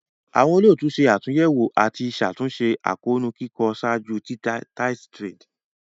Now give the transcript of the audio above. Awọn olootu ṣe atunyẹwo ati ṣatunṣe akoonu kikọ ṣaaju titẹjade.